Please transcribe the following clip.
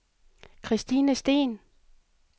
Kristine Steen